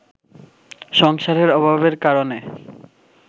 সংসারের অভাবের কারণে